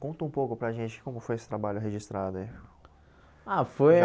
Conta um pouco para a gente como foi esse trabalho registrado aí. Ah foi